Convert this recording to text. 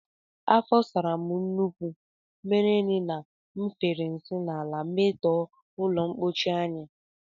Afọ sara m nke ukwuu mere na m fere nsị n'ala metọọ ụlọmkpochi anyị